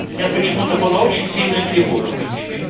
у меня почему-то была очень сильная тревога по тебе